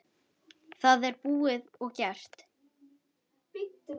Það er búið og gert!